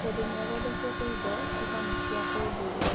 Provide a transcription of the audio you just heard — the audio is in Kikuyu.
tondũ nĩ athondekete indo, cihana cia ũndũire.